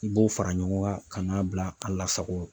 I b'o fara ɲɔgɔn kan ka n'a bila a lasago.